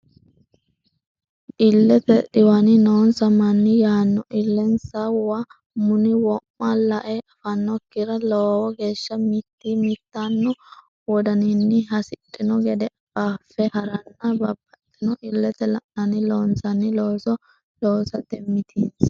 Illete dhiwani noonsa manni yaano illensa wo muni wo ma la e affannokkiri lowo geeshsha mitii mitanno wodaninni hasidhino gede qaaffe ha ranna babbaxxino illete la nanni loonsanni looso loosate mitii.